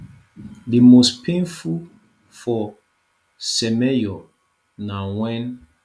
di most painful for semenyo na wen